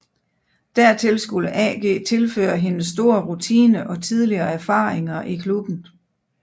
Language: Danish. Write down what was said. Dertil skulle AG tilføre hendes store rutine og tidligere erfaringer i klubben